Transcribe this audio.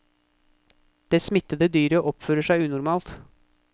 Det smittede dyret oppfører seg unormalt.